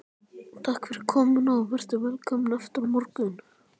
Takk fyrir komuna og vertu velkomin aftur á morgun.